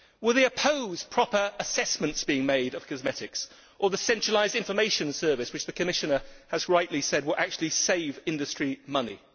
Will they oppose proper assessments being made of cosmetics or the centralised information service which the Commissioner has rightly said will actually save industry money?